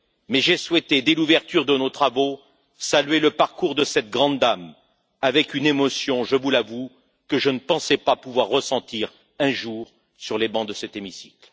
mais j'ai souhaité, dès l'ouverture de nos travaux, saluer le parcours de cette grande dame avec une émotion, je vous l'avoue, que je ne pensais pas pouvoir ressentir un jour sur les bancs de cet hémicycle.